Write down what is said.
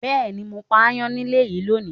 Bẹẹni, mo pa ayan nílé yìí lónìí.